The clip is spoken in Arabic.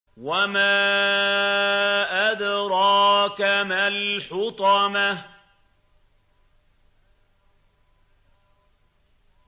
وَمَا أَدْرَاكَ مَا الْحُطَمَةُ